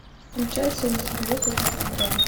включай солнце льет как из ведра